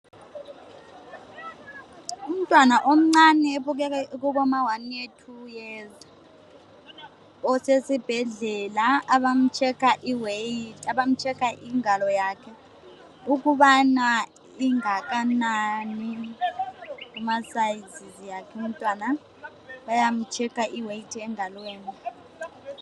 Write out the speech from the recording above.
umntwana omncane obukeka ekubo ma 1 year 2 years osesibhedlela abamu checker ingalo yakhe ukubana ingakanani kuma sizes akhe umntwana bayamu checker i weight engalweni